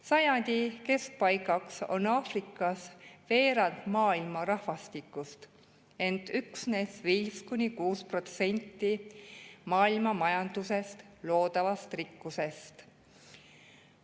Sajandi keskpaigaks on Aafrikas veerand maailma rahvastikust, ent üksnes 5–6% maailma majanduses loodavast rikkusest.